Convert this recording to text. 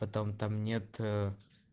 потом там нет